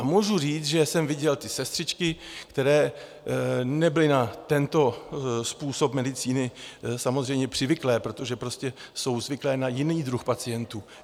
A můžu říct, že jsem viděl ty sestřičky, které nebyly na tento způsob medicíny samozřejmě přivyklé, protože jsou prostě zvyklé na jiný druh pacientů.